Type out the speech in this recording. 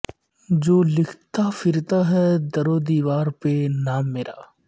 جو لکھتا پھرتا ہے دیوار و در پہ نام میرا